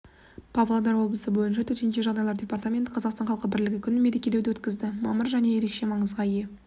павлодар облысы бойынша төтенше жағдайлар департаменті қазақстан халқы бірлігі күнін мерекелеуді өткізді мамыр ерекше маңызға ие